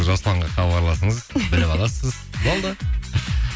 жасұланға хабарласыңыз біліп аласыз болды